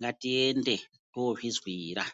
ngatiende tozvizwira.